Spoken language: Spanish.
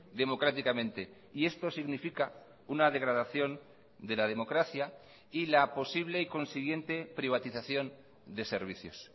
democráticamente y esto significa una degradación de la democracia y la posible y consiguiente privatización de servicios